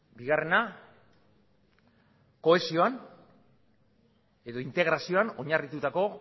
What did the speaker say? bigarrena kohesioan edo integrazioan oinarritutako